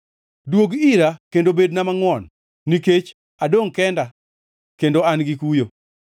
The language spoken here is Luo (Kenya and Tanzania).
Duog ira kendo bedna mangʼwon, nikech adongʼ kenda kendo an gi kuyo.